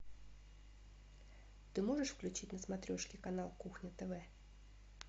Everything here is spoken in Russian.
ты можешь включить на смотрешке канал кухня тв